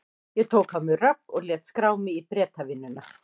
Ég tók á mig rögg og lét skrá mig í Bretavinnuna.